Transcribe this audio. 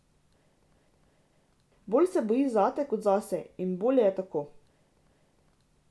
Bolj se boji zate kot zase, in bolje je tako.